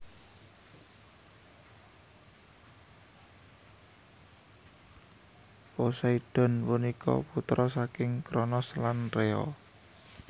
Poseidon punika putra saking Kronos lan Rea